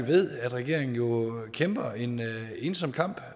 ved at regeringen kæmper en ensom kamp